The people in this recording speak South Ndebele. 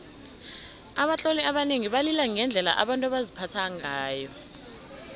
abatloli abanengi balila ngendlela abantu baziphatha ngayo